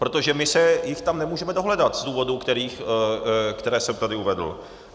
Protože my se jich tam nemůžeme dohledat z důvodů, které jsem tady uvedl.